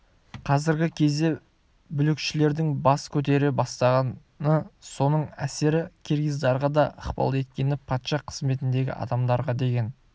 қазіргі кезде бүлікшілдердің бас көтере бастағаны соның әсері киргиздарға да ықпал еткені патша қызметіндегі адамдарға деген